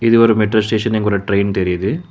இது ஒரு metro station இங்க ஒரு ட்ரெயின் தெரியிது.